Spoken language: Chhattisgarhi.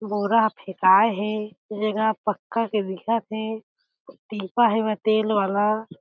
बोरा ह फेकाय हे जे ह पक्का के दिखत हे टिपा हवय तेल वाला।